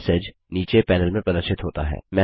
message नीचे panel में प्रदर्शित होता है